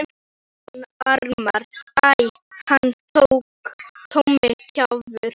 Jón Ármann:- Æ, hann Tommi kjaftur.